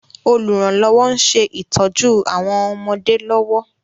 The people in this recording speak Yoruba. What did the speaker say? Olùrànlọ́wọ́ ń ṣe ìtójú àwọn ọmọdé lọ́wọ́